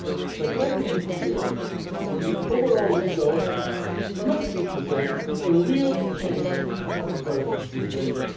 But let me be clear. The overall result must represent a real change from the current situation.